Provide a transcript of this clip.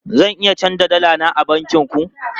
Zan iya canja dala na a bankin ku?